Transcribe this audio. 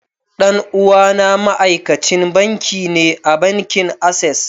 Dan uwana ma'aikacin banki ne a bankin access.